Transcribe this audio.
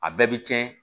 A bɛɛ bɛ cɛn